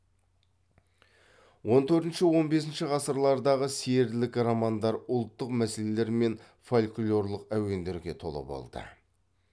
он төртінші он бесінші ғасырлардағы серілік романдар ұлттық мәселелер мен фольклорлық әуендерге толы болды